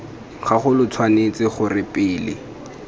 gago lo tshwanetse gore pele